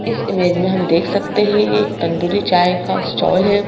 इस इमेज में हम देख सकते हैं एक तंदूरी चाय का स्टॉल है।